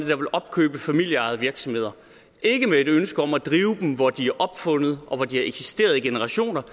vil opkøbe familieejede virksomheder ikke med et ønske om at drive dem hvor de er opfundet og hvor de har eksisteret i generationer